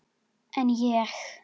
Hún gerir sér upp bros.